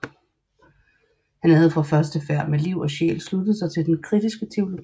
Han havde fra første færd med liv og sjæl sluttet sig til den kritiske teologi